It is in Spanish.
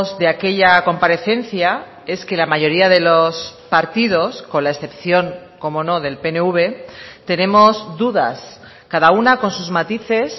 de aquella comparecencia es que la mayoría de los partidos con la excepción como no del pnv tenemos dudas cada una con sus matices